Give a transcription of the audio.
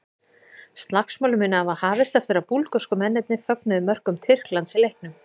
Slagsmálin munu hafa hafist eftir að búlgörsku mennirnir fögnuðu mörkum Tyrklands í leiknum.